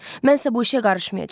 Mən isə bu işə qarışmayacam.